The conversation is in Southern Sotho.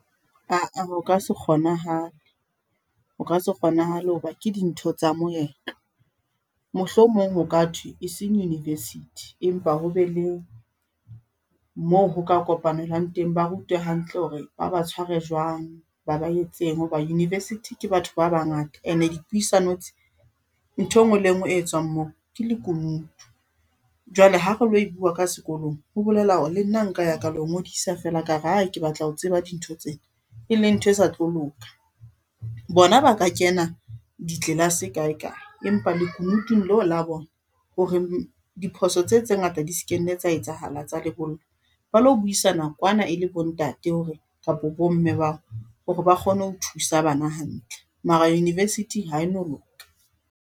Aa! Ho ka se kgonahale, ho ka se kgonahale ho ba ke dintho tsa moetlo. Mohlomong ho ka thwe e seng university, empa ho be le mo ho ka kopanelwang teng. Ba rutwe hantle hore ba ba tshware jwang ba ba etseng ho ba university ke batho ba bangata. Ene di puisano tse ntho e ngwe le e ngwe e tswang moo ke lekunutu, jwale ha re lo e bua ka sekolong ho bolela hore le nna nka ya ka le ho ngodisa fela kare ae ke batla ho tseba dintho tsena e leng ntho e sa tlo loka. Bona ba ka kena di tlelase kae kae, empa lekunutung leo la bona hore diphoso tse tse ngata di se kenne tsa etsahala tsa lebollo. Ba lo buisana kwana e le bo ntate, hore kapa bo mme ba o hore ba kgone ho thusa bana hantle mara university ha e no loka.